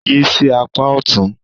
Yí sí apá ọ̀tún.